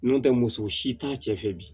N'o tɛ muso si t'a cɛ fɛ bi